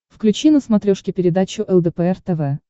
включи на смотрешке передачу лдпр тв